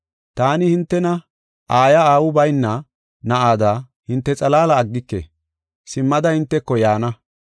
“Taani hintena aayiya aawu bayna na7ada hinte xalaala aggike; simmada hinteko yaana.